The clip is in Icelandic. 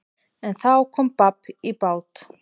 En þá kom babb í bát.